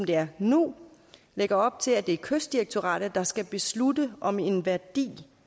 det er nu lægger op til at det er kystdirektoratet der skal beslutte om en værdi